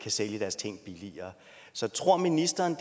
sælge deres ting billigere så tror ministeren